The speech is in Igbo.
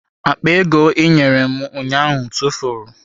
Akpa ego ị nyere m ụnyaahụ tụfuru.